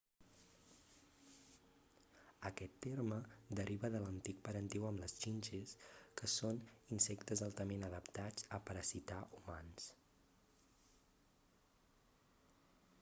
aquest terme deriva de l'antic parentiu amb les xinxes que són insectes altament adaptats a parasitar humans